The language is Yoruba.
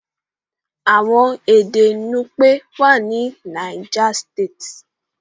Àwọn èdè nupe wá ní niger state.